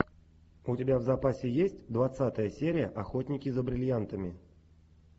у тебя в запасе есть двадцатая серия охотники за бриллиантами